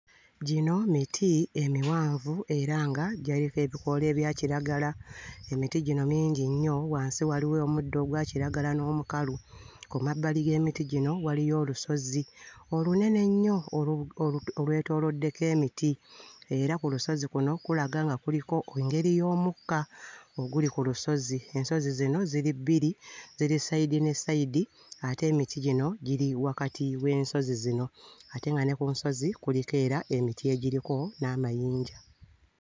Gino miti emiwanvu era nga gyaliko ebikoola ebya kiragala. Emiti gino mingi nnyo, wansi waliwo omuddo ogwa kiragala n'omukalu, ku mabbali g'emiti gino waliyo olusozi olunene ennyo olu... olwetooloddeko emiti era ku lusozi kuno kulaga nga kuliko engeri y'omukka oguli ku lusozi. Ensozi zino ziri bbiri, ziri sayidi ne sayidi ate emiti gino giri wakati w'ensozi zino ate nga ne ku nsozi kuliko era emiti egiriko n'amayinja.